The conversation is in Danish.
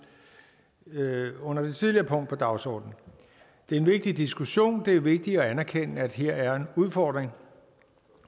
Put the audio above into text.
nåede under det tidligere punkt på dagsordenen det er en vigtig diskussion det er vigtigt at anerkende at her er en udfordring